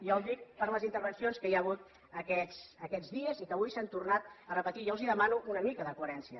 jo ho dic per les intervencions que hi ha hagut aquests dies i que avui s’han tornat a repetir jo els demano una mica de coherència